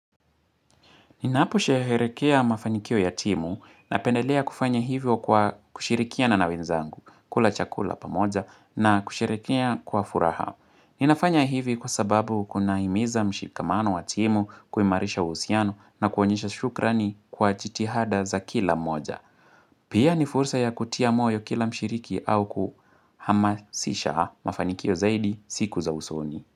Ninaapo sheherekea mafanikio ya timu na pendelea kufanya hivyo kwa kushirikia na nawenzangu, kula chakula pamoja na kusherehekea kwa furaha. Ninafanya hivi kwa sababu kuna imiza mshikamano wa timu kuimarisha uhusiano na kuonyesha shukrani kwa jitihada za kila moja. Pia ni fursa ya kutia moyo kila mshiriki au kuhamasisha mafanikio zaidi siku za usoni.